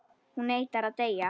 Hún neitar að deyja.